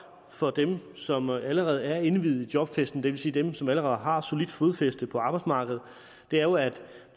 for dem som allerede er indviet i jobfesten det vil sige dem som allerede har solidt fodfæste på arbejdsmarkedet er jo at